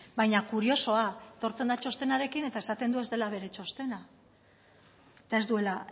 baina kuriosoa etortzen da txostenarekin baina esaten du ez dela bere txostena eta ez duela